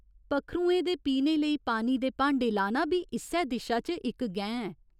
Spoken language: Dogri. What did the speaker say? पक्खरुएं दे पीने लेई पानी दे भांडे लाना बी इस्सै दिशा च इक गैं ऐ।